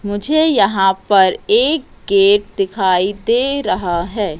मुझे यहां पर एक गेट दिखाई दे रहा है।